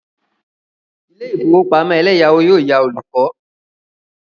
Ilé ìfowópamọ́ eleyawo yóò yá olùkọ́.